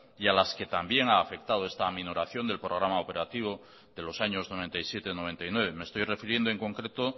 y a las que también ha afectado esta aminoración del programa operativo de los años noventa y siete noventa y nueve me estoy refiriendo en concreto